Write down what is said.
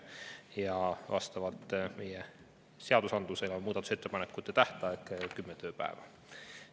Ja vastavalt meie seadusandlusele on muudatusettepanekute tähtaeg kümme tööpäeva.